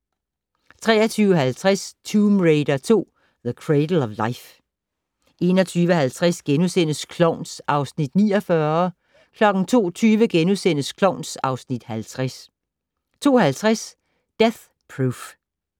23:50: Tomb Raider 2: The Cradle of Life 01:50: Klovn (Afs. 49)* 02:20: Klovn (Afs. 50)* 02:50: Death Proof